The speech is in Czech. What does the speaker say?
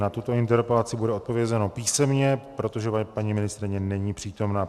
Na tuto interpelaci bude odpovězeno písemně, protože paní ministryně není přítomna.